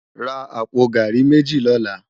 Rá àpó gàrí méji lòlá